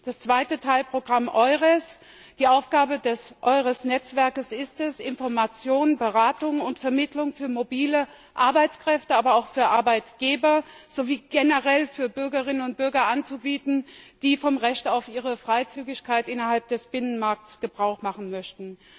Das zweite Teilprogramm EURES Die Aufgabe des EURES Netzwerks ist es, Information, Beratung und Vermittlung für mobile Arbeitskräfte, aber auch für Arbeitgeber sowie generell für Bürgerinnen und Bürger anzubieten, die von ihrem Recht auf Freizügigkeit innerhalb des Binnenmarkts Gebrauch machen möchten.